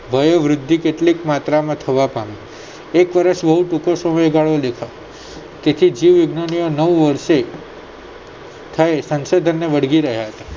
વયોવૃદ્ધિ કેટલી માત્રામાં થવા પામી એક વર્ષ બહુ ટુંકો સમયગાળો લેતા તેથી જીવવિજ્ઞાનીઓ નવ વર્ષે થયે સંશોધનને વળગી રહ્યા છે